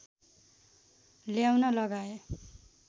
ल्याउन लगाएँ